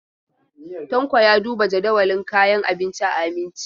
Tanko ya duba jadawalin kayan abinci a Aminci.